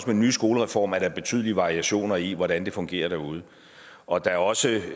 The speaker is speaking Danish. den nye skolereform er betydelige variationer i hvordan det fungerer derude og at der også